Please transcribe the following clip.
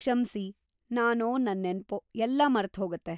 ಕ್ಷಮ್ಸಿ, ನಾನೋ ನನ್‌ ನೆನ್ಪೋ.. ಎಲ್ಲ ಮರ್ತ್‌ಹೋಗತ್ತೆ.